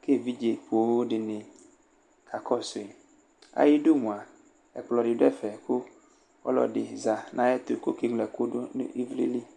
kʋ evidze poo dɩnɩ aka kɔsʋ yɩ Ayʋ idu mʋa, ɛkplɔ dɩ dʋ ɛfɛ, kʋ ɔlɔdɩ ɔza nʋ ayʋ ɛtʋ , kʋ ɔka eŋlo ɛkʋdʋ nʋ ɩvlɩ li ̈